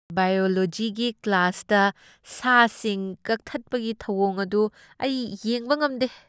ꯕꯥꯏꯌꯣꯂꯣꯖꯤꯒꯤ ꯀ꯭ꯂꯥꯁꯇ ꯁꯥꯁꯤꯡ ꯀꯛꯊꯠꯄꯒꯤ ꯊꯧꯑꯣꯡ ꯑꯗꯨ ꯑꯩ ꯌꯦꯡꯕ ꯉꯝꯗꯦ꯫